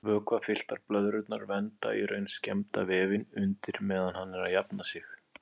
Vökvafylltar blöðrurnar vernda í raun skemmda vefinn undir meðan hann er að jafna sig.